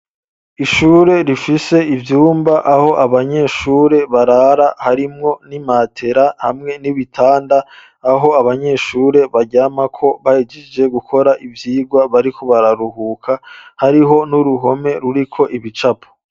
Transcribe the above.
Ishure rifise ivyumba aho abanyeshure barara harimwo n'imatera hamwe n'ibitanda aho abanyeshure baryamako bahejeje gukora ivyigwa bariko bararuhuka hariho n'uruhome ruriko ibicapo.